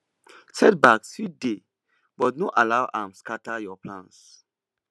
setbacks fit dey but no allow am scatter your plans